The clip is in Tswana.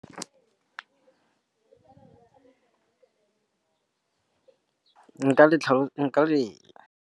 Nka le.